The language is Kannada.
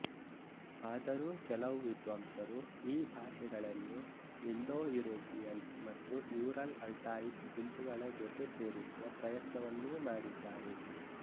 ಆದರೂ ಕೆಲವು ವಿದ್ವಾಂಸರು ಈ ಭಾಷೆಗಳನ್ನು ಇಂಡೋ ಯುರೋಪಿಯನ್ ಮತ್ತು ಯೂರಲ್ಅಲ್ಟಾಯಿಕ್ ಗುಂಪುಗಳ ಜೊತೆ ಸೇರಿಸುವ ಪ್ರಯತ್ನವನ್ನೂ ಮಾಡಿದ್ದಾರೆ